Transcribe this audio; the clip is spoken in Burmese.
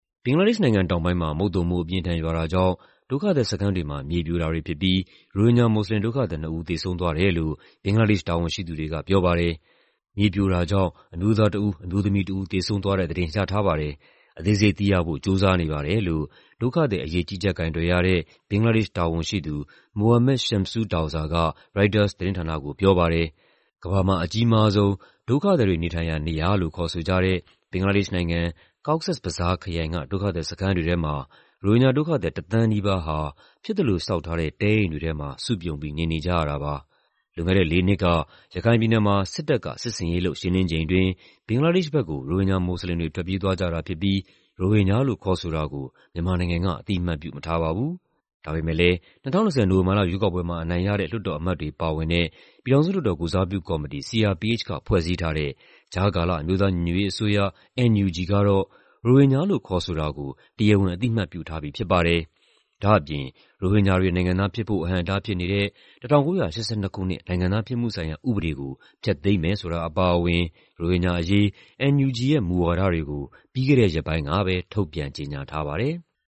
ဘင်္ဂလားဒေ့ရှ်နိုင်ငံတောင်ပိုင်းမှာ မုတ်သုံမိုး အပြင်းအထန်ရွာတာကြောင့် ဒုက္ခသည်စခန်းတွေမှာ မြေပြိုတာတွေဖြစ်ပြီး ရိုဟင်ဂျာမွတ်စလင် ဒုက္ခသည် ၂ ဦး သေဆုံးသွားတယ်လို့ ဘင်္ဂလားဒေ့ရှ် တာဝန်ရှိသူတွေက ပြောပါတယ်။ "မြေပြိုတာကြောင့် အမျိုးသားတဦး၊ အမျိုးသမီးတဦး သေဆုံးသွားတဲ့သတင်း ရထားပါတယ်။ အသေးစိတ်သိရဖို့ ကြိုးစားနေပါတယ်" လို့ ဒုက္ခသည်အရေး ကြီးကြပ်ကိုင်တွယ်ရတဲ့ ဘင်္ဂလားဒေ့ရှ် တာဝန်ရှိသူ Mohammad Shamsud Douza က ရိုက်တာသတင်းဌာနကို ပြောပါတယ်။ ကမ္ဘာမှာ အကြီးမားဆုံး ဒုက္ခသည်တွေနေထိုင်ရာ နေရာလို့ ခေါ်ဆိုကြတဲ့ ဘင်္ဂလားဒေ့ရှ်နိုင်ငံ၊ Cox's Bazar ခရိုင်က ဒုက္ခသည်စခန်းတွေထဲမှာ ရိုဟင်ဂျာဒုက္ခသည် တသန်းနီးပါးဟာ ဖြစ်သလိုဆောက်ထားတဲ့ တဲအိမ်တွေထဲမှာ စုပြုံပြီး နေနေကြရတာပါ။ လွန်ခဲ့တဲ့လေးနှစ်က ရခိုင်ပြည်နယ်မှာ စစ်တပ်က စစ်ဆင်ရေးလုပ် ရှင်းလင်းချိန်အတွင်း ဘင်္ဂလားဒေ့ရှ်ဘက်ကို ရိုဟင်ဂျာမွတ်စလင်တွေ ထွက်ပြေးသွားကြတာဖြစ်ပြီး ရိုဟင်ဂျာလို့ ခေါ်ဆိုတာကို မြန်မာနိုင်ငံက အသိအမှတ် ပြုမထားပါဘူး။ ဒါပေမယ့်လည်း ၂၀၂၀ နိုဝင်ဘာလ ရွေးကောက်ပွဲမှာ အနိုင်ရတဲ့ လွှတ်တော်အမတ်တွေ ပါဝင်တဲ့ ပြည်ထောင်စုလွှတ်တော် ကိုယ်စားပြုကော်မတီ က ဖွဲ့စည်းထားတဲ့ ကြားကာလ အမျိုးသားညီညွတ်ရေးအစိုးရ ကတော့ ရိုဟင်ဂျာလို့ ခေါ်ဆိုတာကို တရားဝင် အသိအမှတ်ပြုထားပြီ ဖြစ်ပါတယ်။ ဒါ့အပြင် ရိုဟင်ဂျာတွေ နိုင်ငံသားဖြစ်ဖို့ အဟန့်အတားဖြစ်နေတဲ့ ၁၉၈၂ ခုနှစ်၊ နိုင်ငံသားဖြစ်မှုဆိုင်ရာ ဥပဒေကို ဖျက်သိမ်းမယ်ဆိုတာ အပါအဝင် ရိုဟင်ဂျာအရေး NUG ရဲ့ မူဝါဒတွေကို ပြီးခဲ့တဲ့ရက်ပိုင်းကပဲ ထုတ်ပြန်ကြေညာထားပါတယ်။